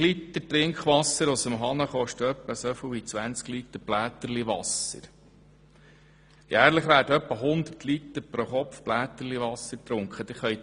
1000 Liter Trinkwasser aus dem Wasserhahn kosten etwa so viel wie 20 Liter «Bläterliwasser», wovon jährlich pro Kopf etwa 100 Liter getrunken werden.